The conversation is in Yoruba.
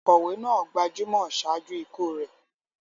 Òǹkọ̀wé náà gbajúmọ̀ ṣáájú ikú rẹ̀.